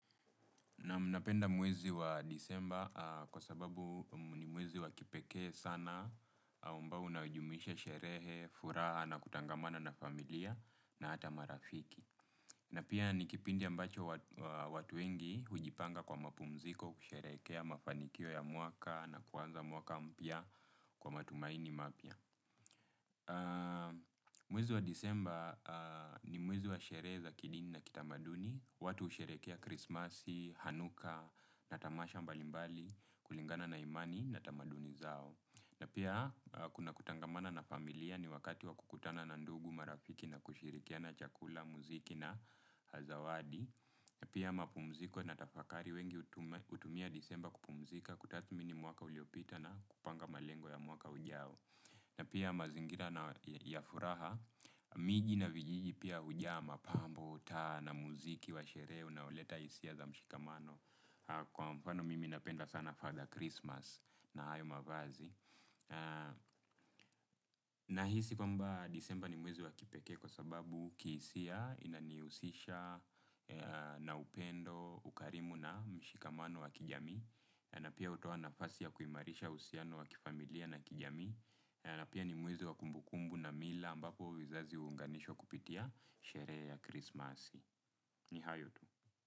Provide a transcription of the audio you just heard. Naam, napenda mwezi wa Disemba kwa sababu ni mwezi wa kipekee sana amabao unaojumuisha sherehe, furaha na kutangamana na familia na hata marafiki. Na pia ni kipindi ambacho watu wengi hujipanga kwa mapumziko, kusherehekea mafanikio ya mwaka na kuanza mwaka mpya kwa matumaini mapya. Mwezi wa disemba ni mwezi wa sherehe za kidini na kitamaduni, watu husherehekea krismasi, hanuka, na tamasha mbalimbali, kulingana na imani, na tamaduni zao. Na pia kuna kutangamana na familia, ni wakati wa kukutana na ndugu, marafiki na kushirikiana chakula, muziki na zawadi. Na pia mapumziko na tafakari, wengi hutumia disemba kupumzika, kutathmini mwaka uliopita na kupanga malengo ya mwaka ujao. Na pia mazingira na ya furaha, mingi na vijiji pia hujaa mapambo, taa na muziki wa sherehe unaoleta hisia za mshikamano. Kwa mfano mimi napenda sana Father Christmas na hayo mavazi. Nahisi kwamba disemba ni mwezi wa kipekee kwa sababu kihisia inanihusisha na upendo, ukarimu na mshikamano wa kijamii. Na pia hutoa nafasi ya kuimarisha uhusiano wa kifamilia na kijamii. Na na pia ni mwezi wa kumbukumbu na mila ambapo vizazi huunganishwa kupitia sherehe ya Christmas. Ni hayo tu.